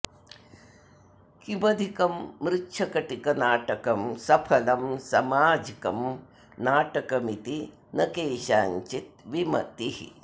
किमधिकं मृच्छकटिकनाटकं सफलं समाजिकं नाटकमिति न केषाञ्चित् विमतिः